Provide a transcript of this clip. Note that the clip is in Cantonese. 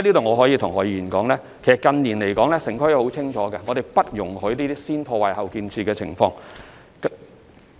我可以在此告訴何議員，近年城規會已很清楚表明，不會容許這種"先破壞、後建設"的情況。